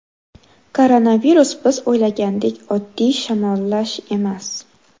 Koronavirus biz o‘ylagandek oddiy shamollash emas.